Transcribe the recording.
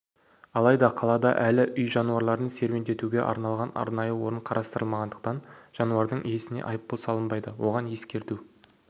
алайда қалада әлі үй жануарларын серуендетуге арналған арнайы орын қарастырылмағандықтан жануардың иесіне айыппұл салынбайды оған ескерту